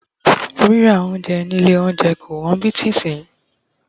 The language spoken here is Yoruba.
rírà ounjẹ ni ilé olounje ko won bí ti sinyi